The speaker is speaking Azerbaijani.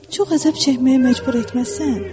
Çox əzab çəkməyə məcbur etməzsən?